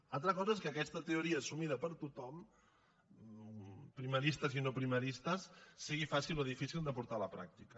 una altra cosa és que aquesta teoria assumida per tothom primaristes i no primaristes sigui fàcil o difícil de portar a la pràctica